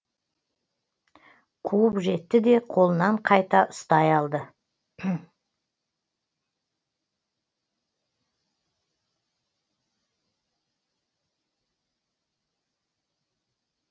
қуып жетті де қолынан қайта ұстай алды